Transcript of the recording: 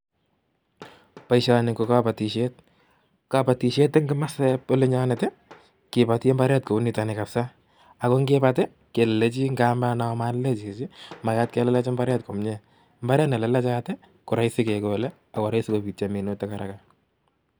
Boisioni ko kabatisiet. Kabatisiet eng kamasieb olinyonet kiboti imbaret kou nitoni kabsa ako ngibat kelelechi malelech chichi, magat kelelech imbaret komyie .Mbaret nelelechat koroisi kegole ak koraisi kobityo minutik haraka.